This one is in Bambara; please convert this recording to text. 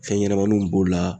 Fɛn ɲɛnɛmaninw b'o la.